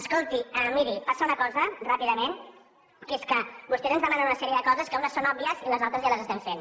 escolti miri passa una cosa ràpidament que és que vostès ens demanen una sèrie de coses que unes són òbvies i les altres ja les estem fent